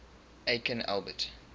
aikin albert